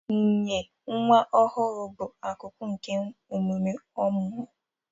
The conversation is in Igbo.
Inye nwa ọhụrụ bụ akụkụ nke emume ọmụmụ